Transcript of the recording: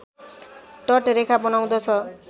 तट रेखा बनाउँदछ